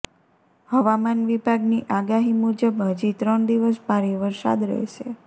હવામાન વિભાગની આગાહી મુજબ હજી ત્રણ દિવસ ભારે વરસાદ રહેશે